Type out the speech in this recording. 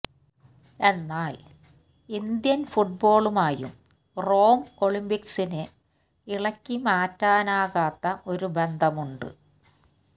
എന്നാല് ഇന്ത്യന് ഫുട്ബോളുമായും റോം ഒളിമ്പിക്സിന് ഇളക്കി മാറ്റാനാകാത്ത ഒരു ബന്ധമുണ്ട്